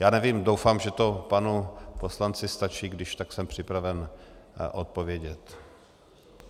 Já nevím, doufám, že to panu poslanci stačí, když tak jsem připraven odpovědět.